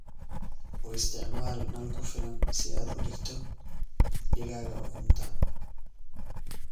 U isticmaal nal ku filan si aad u dhigto digaaga ukuntaa.